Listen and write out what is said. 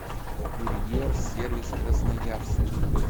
курьер сервис красноярск